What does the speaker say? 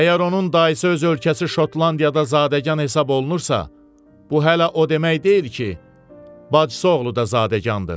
Əgər onun dayısı öz ölkəsi Şotlandiyada zadəgan hesab olunursa, bu hələ o demək deyil ki, bacısı oğlu da zadəgandır.